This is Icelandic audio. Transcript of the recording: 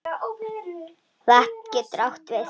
Vatn getur átt við